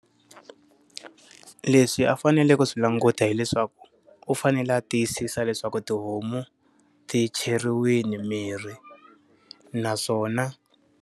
Leswi a faneleke ku swi languta hileswaku, u fanele a tiyisisa leswaku tihomu ti cheriwile mirhi naswona.